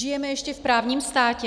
Žijeme ještě v právním státě?